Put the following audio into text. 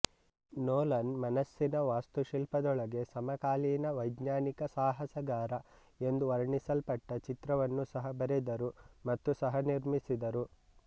Nolan ಮನಸ್ಸಿನ ವಾಸ್ತುಶಿಲ್ಪದೊಳಗೆ ಸಮಕಾಲೀನ ವೈಜ್ಞಾನಿಕ ಸಾಹಸಗಾರ ಎಂದು ವರ್ಣಿಸಲ್ಪಟ್ಟ ಚಿತ್ರವನ್ನೂ ಸಹ ಬರೆದರು ಮತ್ತು ಸಹನಿರ್ಮಿಸಿದರು